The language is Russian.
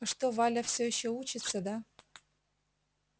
а что валя эта все ещё учится да